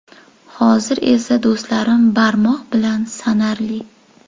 Hozir esa do‘stlarim barmoq bilan sanarli.